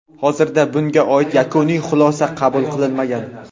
Hozircha bunga oid yakuniy xulosa qabul qilinmagan.